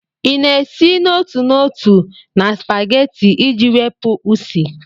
Ị na-esi n'otu n'otu na spaghetti iji wepụ Usi?